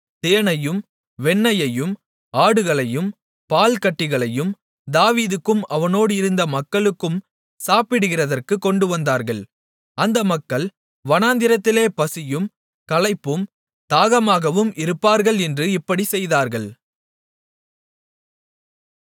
தேனையும் வெண்ணெயையும் ஆடுகளையும் பால்கட்டிகளையும் தாவீதுக்கும் அவனோடு இருந்த மக்களுக்கும் சாப்பிடுகிறதற்குக் கொண்டுவந்தார்கள் அந்த மக்கள் வனாந்திரத்திலே பசியும் களைப்பும் தாகமாகவும் இருப்பார்கள் என்று இப்படிச் செய்தார்கள்